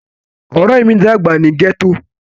Ore mi dagba ni gẹto.